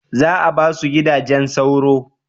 Za a ba su gidajen sauro?